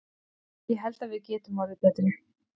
Ég held að við getum orðið betri.